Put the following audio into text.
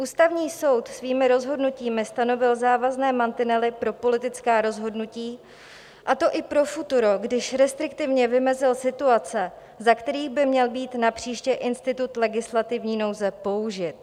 Ústavní soud svými rozhodnutími stanovil závazné mantinely pro politická rozhodnutí, a to i pro futuro, když restriktivně vymezil situace, za kterých by měl být napříště institut legislativní nouze použit.